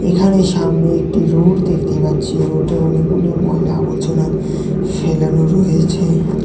এখানে সামনে একটি রোড দেখতে পাচ্ছি রোডে অনেকগুলি ময়লা আবর্জনা ফেলানো রয়েছে।